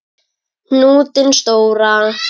Hnútinn stóra.